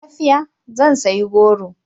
Lafiya! Zan sayi goro.